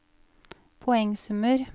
poengsummer